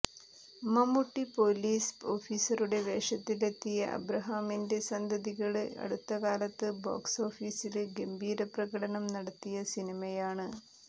Mammootty police ഓഫീസറുടെ വേഷത്തിലെത്തിയ അബ്രഹാമിന്റെ സന്തതികള് അടുത്ത കാലത്ത് ബോക്സോഫീസില് ഗംഭീര പ്രകടനം നടത്തിയ സിനിമയാണ്